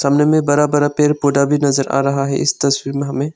में बड़ा बड़ा पेड़ पौधा भी नजर आ रहा है इस तस्वीर में हमें।